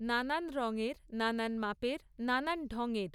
নানান রঙের, নানান মাপের, নানান ঢংয়ের।